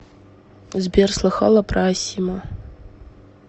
сбер слыхала про асимо